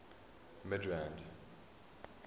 midrand